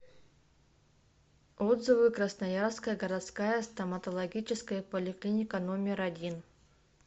отзывы красноярская городская стоматологическая поликлиника номер один